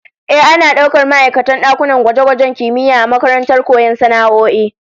Ehh, ana daukar ma'aikatan dakunan gwaje-gwajen kimiyya a makarantar koyon sana'o'i